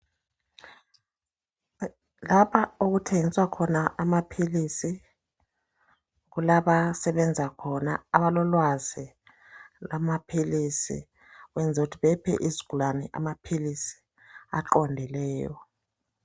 Lapha okuthengiswakhona amaphilisi. Kulabasebenza khona abalolwazi lwamaphilisi. Ukwenzela ukuthi baphe izigulane amaphilisi aqondileyo.